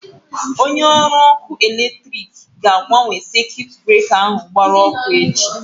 Onye ọrụ ọkụ electriki ga-agbanwe sekuit breka ahụ gbara ọkụ echi.